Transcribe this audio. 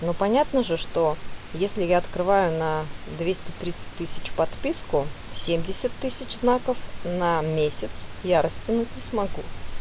ну понятно же что если я открываю на двести тридцать тысяч подписку семьдесят тысяч знаков на месяц я растянуть не смогу